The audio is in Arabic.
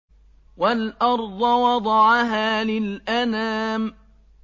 وَالْأَرْضَ وَضَعَهَا لِلْأَنَامِ